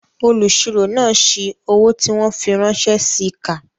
Olùsirò náà si owó tí wọ́n fi ránṣẹ́ síi kà